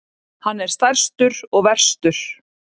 Hann er stærstur og verstur.